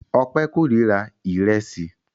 Ọpẹ́ kórira ìrẹsì.